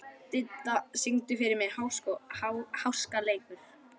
Didda, syngdu fyrir mig „Háskaleikur“.